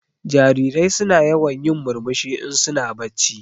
Jarirai suna yawan yin murmushi in su na bacci.